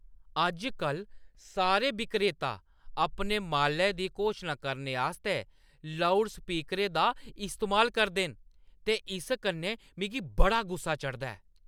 अज्ज-कल सारे विक्रेता अपने मालै दी घोशना करने आस्तै लाउडस्पीकरें दा इस्तेमाल करदे न ते इस कन्नै मिगी बड़ा गुस्सा चढ़दा ऐ।